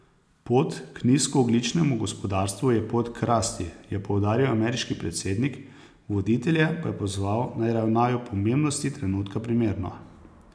Pot k nizkoogljičnemu gospodarstvu je pot k rasti, je poudaril ameriški predsednik, voditelje pa je pozval, naj ravnajo pomembnosti trenutka primerno.